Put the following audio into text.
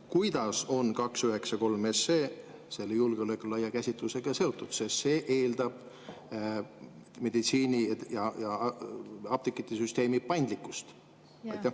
Kuidas on 293 SE selle julgeoleku laia käsitlusega seotud, sest see eeldab meditsiini‑ ja apteegisüsteemi paindlikkust?